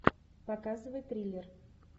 показывай триллер